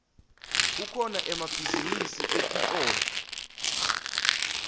kukhona emabhizinisi etitolo